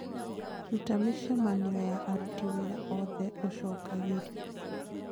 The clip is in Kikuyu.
rũta mĩcemanio ya aruti wĩra oothe ũcokagĩrio